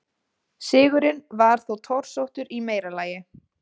Sigurinn var þó torsóttur í meira lagi.